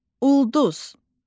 Ulduz.